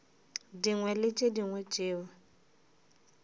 dingwe le tše dingwe tšeo